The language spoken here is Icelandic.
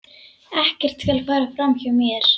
Ekkert skal fara fram hjá mér.